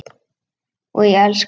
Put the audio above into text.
Og ég elska þig!